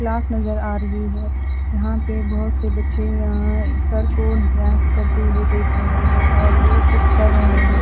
Class नजर आ रही है यहां पे बहोत से बच्चे यहां सर को ड्रांस करते हुए देख रहे हैं और वो खुद कर रहे हैं।